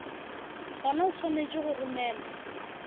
gona o swanetše go romelwa